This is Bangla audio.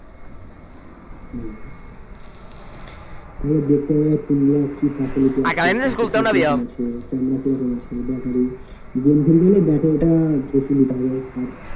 হম দেখতে হবে কোনগুলা কি facility আছে কত camera কিরকম আছে batterygame খেলতে গেলে battery টা বেশিনিতে হবে আর